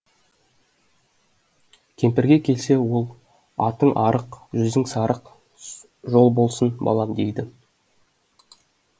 кемпірге келсе ол атың арық жүзің сарық жол болсын балам дейді